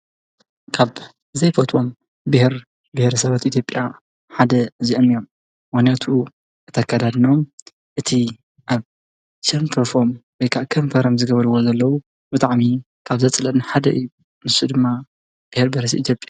ካብ ዘይፈትዎም ብኅር ብኅር ሰበት ኢቲብኣ ሓደ እዚእም እዮም ወነቱ እተከዳድኖ እቲ ኣብ ኬምፈፎም ቤይካዕከም ፈረም ዝገበልዎ ዘለዉ ብጥዕሚ ካብ ዘጽለን ሓደ ምሱ ድማ ብኅር በረስ ይገብር ::